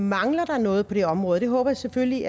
mangler der noget på det område det håber jeg selvfølgelig